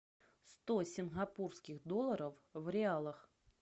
сто сингапурских долларов в реалах